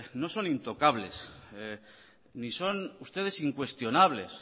no son intocables ni son ustedes incuestionables